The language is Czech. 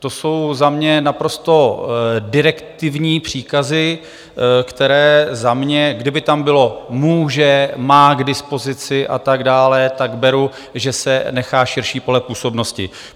To jsou za mě naprosto direktivní příkazy, které za mě, kdyby tam bylo - může, má k dispozici a tak dále - tak beru, že se nechá širší pole působnosti.